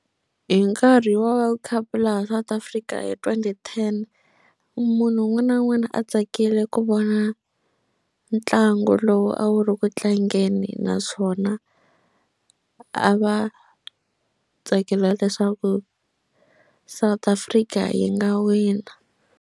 Hi nkarhi wa world cup laha South Africa hi twenty ten munhu un'wana na un'wana a tsakile ku vona ntlangu lowu a wu ri ku tlangeni naswona a va tsakela leswaku South Africa yi nga wina.